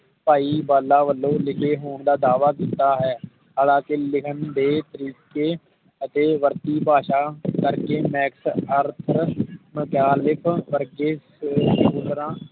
ਭਾਈ ਵਾਲਾ ਵਲੋਂ ਲਿਖੇ ਹੋਣ ਦਾ ਦਾਵਾ ਕੀਤਾ ਹੈ ਹਾਲ ਕੇ ਲਿਖਣ ਦੇ ਤਰੀਕੇ ਅਤੇ ਵਰਤੀ ਭਾਸ਼ਾ ਕਰਕੇ ਇਸ ਅਰਥ ਮੈਗਯਾਲਿਕ ਵਰਗੇ